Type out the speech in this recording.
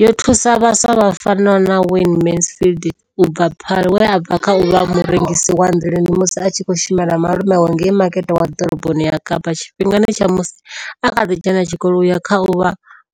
Yo thusa vhaswa vha fanaho na Wayne Mansfield u bva Paarl, we a bva kha u vha murengisi wa nḓilani musi a tshi khou shumela malume awe ngei Makete wa Ḓoroboni ya Kapa tshifhingani tsha musi a kha ḓi dzhena tshikolo u ya kha u vha